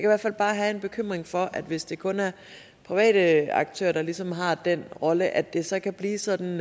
hvert fald bare have en bekymring for hvis det kun er private aktører der ligesom har den rolle at det så kan blive sådan